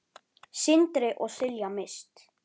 Sindri og Silja Mist.